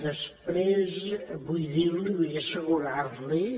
després vull dir li vull assegurar li